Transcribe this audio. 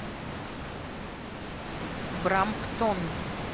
брамптон